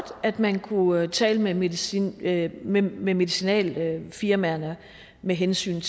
at man kunne tale med medicinalfirmaerne med medicinalfirmaerne med hensyn